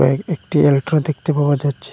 এ একটি এলট্র দেখতে পাওয়া যাচ্ছে।